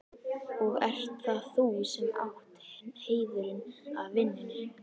Og ert það þú sem átt heiðurinn af vinnunni?